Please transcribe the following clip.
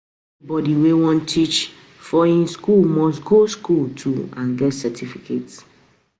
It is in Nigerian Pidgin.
Anybody wey won teach for um school must go school too and get certificate